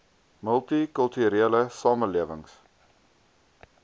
multi kulturele samelewings